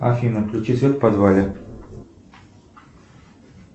афина включи свет в подвале